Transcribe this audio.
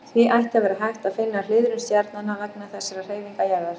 Því ætti að vera hægt að finna hliðrun stjarnanna vegna þessarar hreyfingar jarðar.